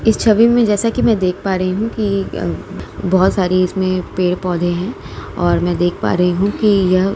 इस छवि में जैसा कि में देख पा रही हूँ कि यह बहोत सारी इसमें पेड़ पौधे हैं और में देख पा रही हूँ कि यह --